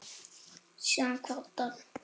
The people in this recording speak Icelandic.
Síðan kvaddi hann